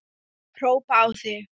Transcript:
Hrópa á þig!